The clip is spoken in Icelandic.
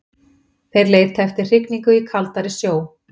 Þeir leita eftir hrygningu í kaldari sjó.